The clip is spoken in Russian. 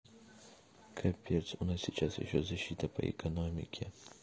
капец у нас сейчас ещё защита по экономике